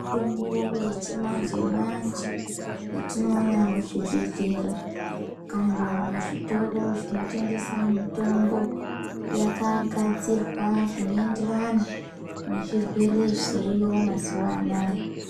Mitombo yechimanje-manje, yetinoona muchibhedhlera, kana muzvitoro zvinotengesa mitombo, yakagadzirwa zvinoenderana nezvirwere zviriyo mazuwa anaya.